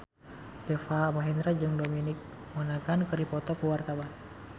Deva Mahendra jeung Dominic Monaghan keur dipoto ku wartawan